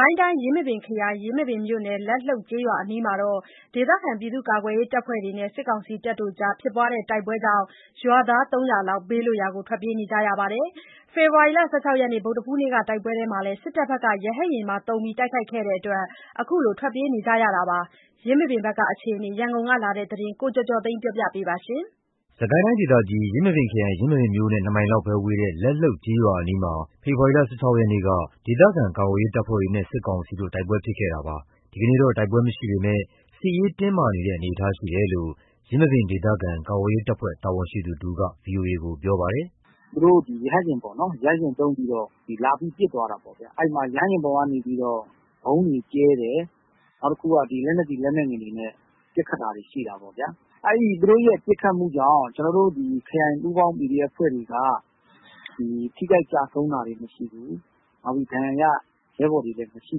ိုင်းတိုင်း၊ ယင်းမာပင်ခရိုင်၊ ယင်းမာပင်မြို့နယ် လက်လှုပ်ကျေးရွာအနီးမှာ ဒေသခံကာကွယ်ရေးတပ်ဖွဲ့တွေနဲ့ စစ်ကောင်စီတို့ ဖြစ်ပွားတဲ့တိုက်ပွဲကြောင့် ရွာသား ၃၀၀ လောက် ဘေးလွတ်ရာ ထွက်ပြေးနေကြရပါတယ်။ ဖေဖော်ဝါရီ ၁၆ ရက် ဗုဒ္ဓဟူးနေ့က တိုက်ပွဲအတွင်း စစ်တပ်ဘက်က ရဟတ်ယာဉ်သုံး တိုက်ခိုက်ခဲ့တဲ့အတွက် ခုလိုထွက်ပြေးနေကြတာဖြစ်ပါတယ်။ ယင်းမာပင်ဘက် အခြေအနေ ရန်ကုန်ကလာတဲ့သတင်းကို ကိုကျော်ကျော်သိန်းက တင်ပြပေးထားပါတယ်။ စစ်ကိုင်းတိုင်းဒေသကြီး ယင်းမာပင်ခရိုင်၊ ယင်းမာပင်မြို့နဲ့ ၂ မိုင်သာ ဝေးတဲ့ လက်လှုပ် ကျေးရွာအနီးမှာ ဖေဖော်ဝါရီ ၁၆ ရက်က ဒေသခံကာကွယ်ရေး တပ်ဖွဲ့တွေနဲ့ စစ်ကောင်စီတို့ တိုက်ပွဲဖြစ်ခဲ့တာပါ။ ဒီနေ့တော့ တိုက်ပွဲမဖြစ်ပေမဲ့ စစ်ရေးတင်းမာနေတဲ့ အနေအထားရှိတယ်လို့ ယင်းမာပင်ဒေသခံ ကာကွယ်ရေးတပ်ဖွဲ့ တာဝန်ရှိသူတဦးက ပြောပါတယ်။ “သူတို့က ရဟတ်ယာဉ်သုံးပြီး လာ ပစ်သွားတာပေါ့။ အဲ့ရဟတ်ယာဉ်ပေါ်ကနေ ဗုံးတွေကြဲတယ်။ နောက်ပြီး လက်နက်ကြီး လက်နက်ငယ်တွေနဲ့ ပစ်ခတ်တာတွေရှိတာပေါ့ဗျာ။ သူတို့ရဲ့ ပစ်ခတ်တာကြောင့် ကျနော်တို့ ခရိုင်ပူးပေါင်း PDF အဖွဲ့တွေက ထိခိုက် ကျဆုံးတာတွေမရှိဘူး။ ဒဏ်ရာရ ရဲဘော်တွေလည်း မရှိ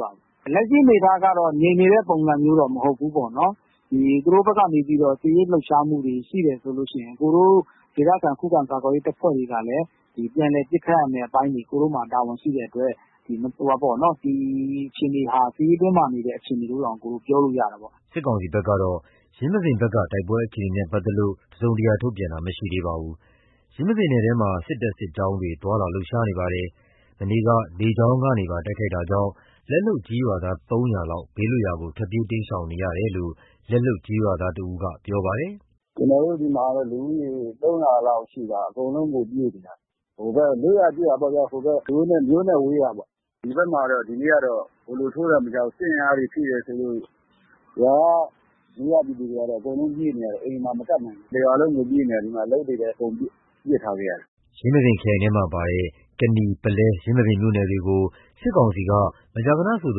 ပါဘူး။ လက်ရှိအနေအထားက ငြိမ်နေတဲ့ ပုံစံမျိုးတော့မဟုတ်ဘူးပေါ့နော်။ သူတို့ဘက်က စစ်ရေးလှုပ်ရှားမှုတွေ ရှိတယ်ဆိုရင် ဒေသခံ ခုခံကာကွယ်ရေး တပ်ဖွဲ့တွေကလည်း ပြန်လည် ပစ်ခတ်ရမယ့်အပိုင်းတွေ တာဝန်ရှိတဲ့အတွက် ဒီအခြေအနေဟာ စစ်ရေးတင်းမာနေတဲ့ အခြေအနေလို့ တောင်ပြောလို့ရတယ်။” စစ်ကောင်စီဘက်ကတော့ ယင်းမာပင်ဘက်က တိုက်ပွဲအခြေအနေနဲ့ပတ်သက်လို့ တစုံတရာ ထုတ်ပြန်တာ မရှိသေးပါဘူး။ ယင်းမာပင်နယ်ထဲမှာ စစ်တပ် စစ်ကြောင်းတွေ သွားလာလှုပ်ရှားနေပါတယ်။ မနေ့က လေကြောင်းကနေပါ တိုက်ခိုက်မှုကြောင့် လက်လှုပ်ကျေးရွာသား ၃၀၀ လောက် ဘေးလွတ်ရာကို ထွက်ပြေး တိမ်းရှောင်နေရတယ်လို့ လက်လှုပ်ကျေးရွာသားတဦးက ပြောပါတယ်။ “ကျနော်တို့ဆီမှာ လူဦးရေ ၃၀၀ လောက်ရှိတာ အကုန်လုံးကို ပြေးနေရတယ်။ လွတ်ရာ ကျွတ်ရာပေါ့ဗျာ။ မြို့နဲ့ဝေးရာကို။ ဒီဘက်မှာ ဒီနေ့တော့ (စစ်ကြောင်း) ထိုးတယ်မကြားဘူး။ စစ်အင်အားတွေ တိုးတယ်ဆိုလို့ ရွာကလူတွေက အကုနု်ပြေးနေရ တယ်။ အိမ်မှာမကပ်နိုင်ဘူး။ တရွာလုံးကို ပြေးနေရတာ။ ဒီမှာ အလုပ်တွေကို ပစ်ထားပြီးတော့။” ယင်းမာပင်ခရိုင်ထဲမှာပါတဲ့ ကနီ ၊ ပုလဲ ၊ ယင်းမာပင်မြို့နယ်တွေကို စစ်ကောင်စီက မကြာခဏဆိုသ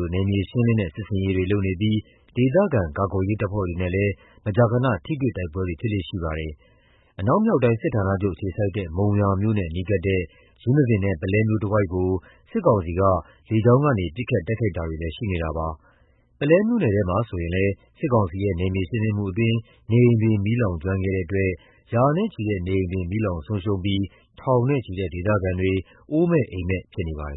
လို နယ်မြေရှင်းလင်းတဲ့ စစ်ဆင်ရေးတွေလုပ်နေပြီး ဒေသခံကာကွယ်ရေးတပ်ဖွဲ့တွေနဲ့လည်း မကြာခဏ ထိတွေ့တိုက်ပွဲတွေ ဖြစ်လေ့ရှိပါတယ်။ အနောက်မြောက်တိုင်း စစ်ဌာနချုပ် အခြေစိုက်တဲ့ မုံရွာမြို့နဲ့နီးကပ်တဲ့ ယင်းမာပင်နဲ့ ပုလဲမြို့တဝိုက်ကို စစ်ကောင်စီက လေကြောင်းကနေ ပစ်ခတ်တိုက်ခိုက်တာတွေလည်း ရှိနေပါတယ်။ ပုလဲမြို့နယ်ထဲမှာဆိုရင်လည်း စစ်ကောင်စီရဲ့ နယ်မြေရှင်း လင်းမှုအတွင်း နေအိမ်တွေ မီးလောင်ကျွမ်းခဲ့တဲ့အတွက် ရာနဲ့ချီတဲ့နေအိမ်တွေ မီးလောင်ဆုံးရှုံံးပြီး ထောင်နဲ့ချီတဲ့ ဒေသခံတွေ အိုးမဲ့အိမ်မဲ့ ဖြစ်နေပါတယ်